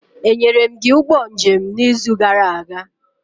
Enyere m gị ụgbọ njem n'izu gara aga?